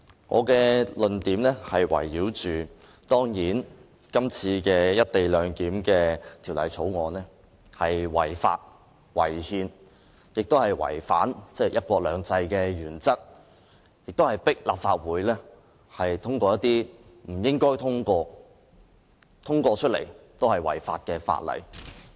我的論點主要是圍繞《條例草案》屬違法、違憲，亦違反"一國兩制"的原則，但政府卻迫使立法會通過這項不該通過，而即使通過了也是違法的法案。